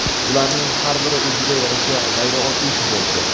Ularning har biri o‘ziga yarasha g‘ayrioddiy futbolchi.